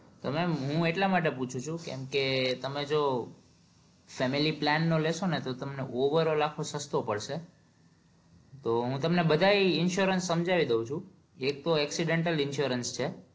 તો મેમ હું એટલા માટે પુછુ છું કેમ કે તમને જો family plan નો લેસો ને તો તમને ઓવર ઓં લાખો નો સસ્તો પડશે તો હું તમને બધા insurance સમજાઈ દઉં છું એક તો accidental insurance છે